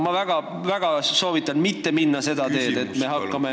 Ma väga soovitan mitte minna seda teed, et me hakkame ...